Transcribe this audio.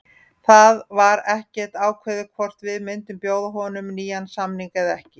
Það var ekkert ákveðið hvort við myndum bjóða honum nýjan samning eða ekki.